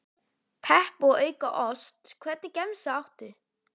Pepp og auka ost Hvernig gemsa áttu?